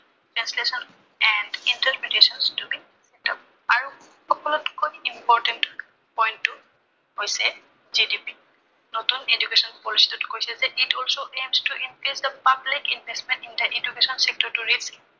it interpretations to be আৰু সকলোতকৈৈ important point টো হৈছে GDP নতুন education policy টোত কৈছে যে, It also aims the public investment in the education sector